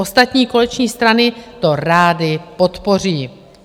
Ostatní koaliční strany to rády podpoří.